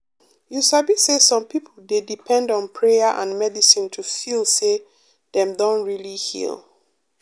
you sabi say some people dey depend on prayer and medicine to feel say dem don really heal.